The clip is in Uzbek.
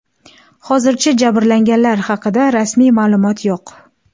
Hozircha jabrlanganlar haqida rasmiy ma’lumot yo‘q.